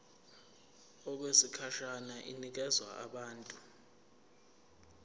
okwesikhashana inikezwa abantu